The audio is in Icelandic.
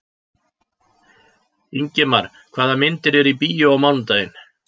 Ingimar, hvaða myndir eru í bíó á mánudaginn?